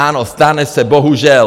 Ano, stane se, bohužel.